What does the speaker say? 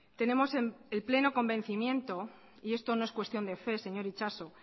tenemos el pleno convencimiento y esto no es cuestión de fe señor itxaso